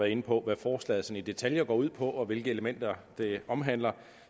inde på hvad forslaget i detaljer går ud på og hvilke elementer det omhandler